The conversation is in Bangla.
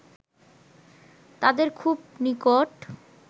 তাঁদের খুব নিকট